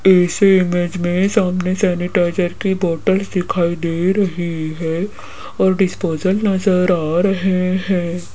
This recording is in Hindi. इस इमेज में सामने सेनीटाइजर की बोटल दिखाई दे रही है और डिस्पोजल नजर आ रहे हैं।